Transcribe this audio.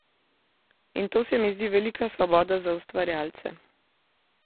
In to se mi zdi velika svoboda za ustvarjalce.